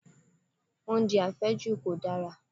Oúnjẹ àfẹ́jù kò dára